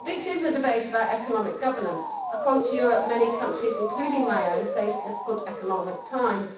Mr President, this is a debate about economic governance. Across Europe many countries, including my own, face difficult economic times.